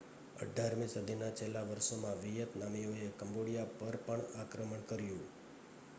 18મી સદીના છેલ્લાં વર્ષોમાં વિયેતનામીઓએ કમ્બોડિયા પર પણ આક્રમણ કર્યું